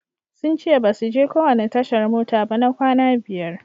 Sun ce basu je kowanne tashar mota ba na kwana biyar.